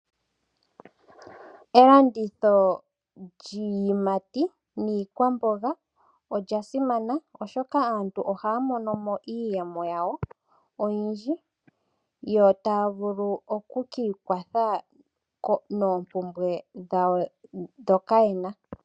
Elanditho lyiiyimati niikwamboga olya simana, oshoka aantu oha ya mono mo iiyemo yawo oyindji, yo taya vulu oku ka ikwatha noompumbwe dhawo ndhoka yena.